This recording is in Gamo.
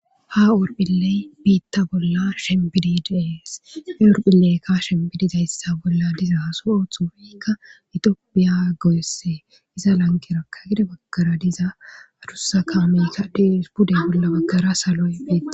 Ha hurphiley biitta bolla shembidi dees he hurphileykkaa shembidizayssa bolla diza haso oothu ufikka itiopiya go'esse iza lanqerakka gide baggara diza adussa kaamisa diis pudde bolla baggara saloy betesi.